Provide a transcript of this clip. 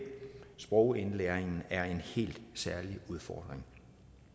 sprogindlæring er en helt særlig udfordring